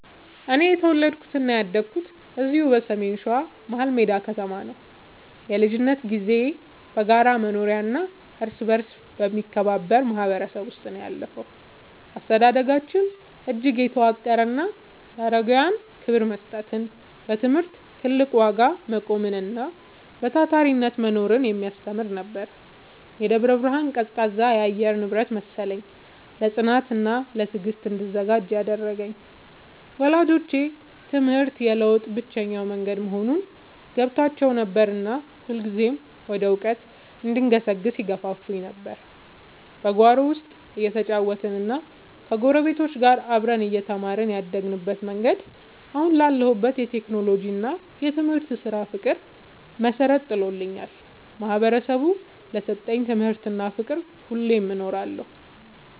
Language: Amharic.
እኔ የተወለድኩትና ያደግኩት እዚሁ በሰሜን ሸዋ፣ መሀልሜዳ ከተማ ነው። የልጅነት ጊዜዬ በጋራ መኖሪያና እርስ በርስ በመከባበር ማህበረሰብ ውስጥ ነው ያለፈው። አስተዳደጋችን እጅግ የተዋቀረና ለአረጋውያን ክብር መስጠትን፣ ለትምህርት ትልቅ ዋጋ መቆምንና በታታሪነት መኖርን የሚያስተምር ነበር። የደብረ ብርሃን ቀዝቃዛ የአየር ንብረት መሰለኝ፣ ለጽናትና ለትዕግስት እንድዘጋጅ ያደረገኝ። ወላጆቼ ትምህርት የለውጥ ብቸኛው መንገድ መሆኑን ገብቷቸው ነበርና ሁልጊዜም ወደ እውቀት እንድገሰግስ ይገፋፉኝ ነበር። በጓሮ ውስጥ እየተጫወትንና ከጎረቤቶች ጋር አብረን እየተማርን ያደግንበት መንገድ፣ አሁን ላለሁበት የቴክኖሎጂና የትምህርት ስራ ፍቅር መሰረት ጥሎልኛል። ማህበረሰቡ ለሰጠኝ ትምህርትና ፍቅር ሁሌም እኖራለሁ።